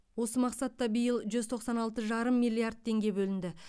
осы мақсатта биыл жүз тоқсан алты жарым миллиард теңге бөлінді